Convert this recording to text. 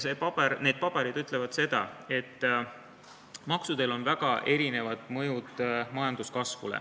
Need paberid ütlevad, et maksudel on majanduskasvule väga erinev mõju.